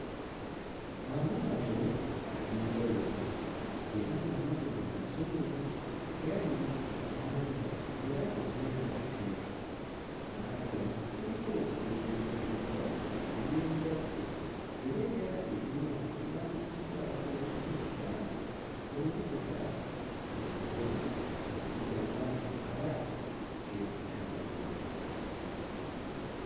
Amaato ag'enjawulo era ng'amaato gano mazungu gali ku nnyanja era ng'ennyanja nteefu. Ku maato gano kuliko ebintu ebiteekeddwako eby'enjawulo era eryato erimu liwandiikiddwako n'ekigambo mu nnukuta enjeru nga kigamba nti mpala capetown.